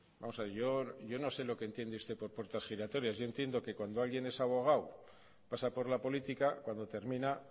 vamos a ver yo no sé lo que entiende usted por puertas giratorias yo entiendo que cuando alguien es abogado pasa por la política cuando termina